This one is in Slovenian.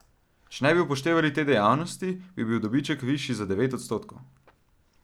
Če ne bi upoštevali te dejavnosti, bi bil dobiček višji za devet odstotkov.